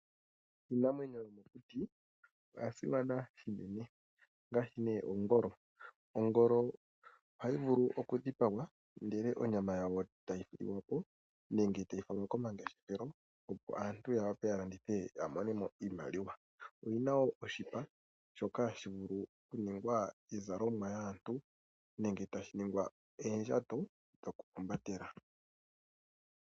Iinamwenyo yomokuti oya simana shinene ngaashi ongolo. Ongolo ohayi vulu okudhipangwa onyama yayo etayi liwa po, nenge tayi falwa komangeshefelo opo aantu yawape yalandithe yamone mo iimaliwa. Oyina oshipa mono hamu vulu oku ningwa iizalonwa yaantu nenge oondjato dhokuhumbatela.